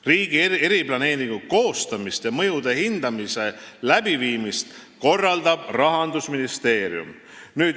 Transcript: Riigi eriplaneeringu koostamist ja mõjude hindamise läbiviimist korraldab Rahandusministeerium.